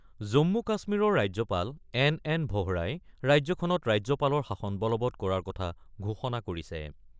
জম্মু - কাশ্মীৰৰ ৰাজ্যপাল N N ভোহৰাই ৰাজ্যখনত ৰাজ্যপালৰ শাসন বলবৎ কৰাৰ কথা ঘোষণা কৰিছে ।